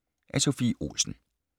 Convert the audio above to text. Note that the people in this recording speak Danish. Af Sophie Olsen